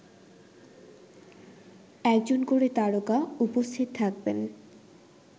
একজন করে তারকা উপস্থিত থাকবেন